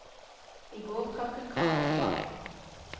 I går trakk hun kravet tilbake.